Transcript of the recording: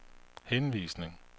henvisning